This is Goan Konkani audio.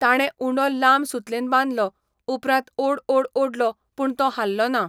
ताणें उंडो लांब सुतलेन बांदलो, उपरांत ओड ओड ओडलो पूण तो हाल्लो ना.